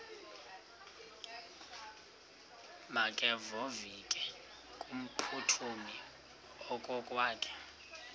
makevovike kumphuthumi okokwakhe